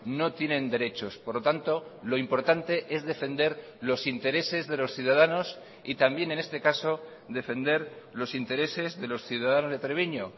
no tienen derechos por lo tanto lo importante es defender los intereses de los ciudadanos y también en este caso defender los intereses de los ciudadanos de treviño